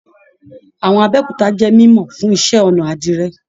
Àwọn Abéòkúta jẹ mímọ fún iṣẹ́-ọnà àdìrẹ́.